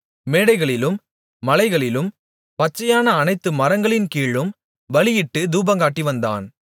மேடைகளிலும் மலைகளிலும் பச்சையான அனைத்து மரங்களின் கீழும் பலியிட்டுத் தூபங்காட்டிவந்தான்